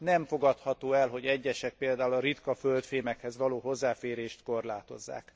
Nem fogadható el, hogy egyesek, például a ritkaföldfémekhez való hozzáférést korlátozzák.